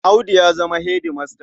Audu ya zama hedimasta.